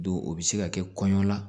Don o bɛ se ka kɛ kɔɲɔ la